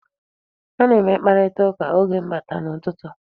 Ha na-eme mkparitaụka oge m batara n'ụtụtụ.